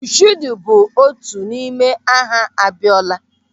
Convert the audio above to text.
Mọshuudu bụ otu n'ime aha Abiọla.